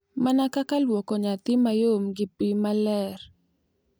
Mana kaka lwoko nyathi mayom gi pi maler, .